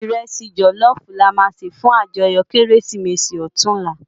Irèsi jòlòfú làmá sé fún àjòyò Kérésimési òtúnlá